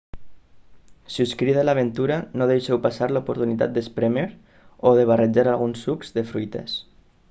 si us crida l'aventura no deixeu passar l'oportunitat d'esprémer o de barrejar alguns sucs de fruites